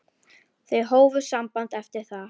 Þau hófu samband eftir það.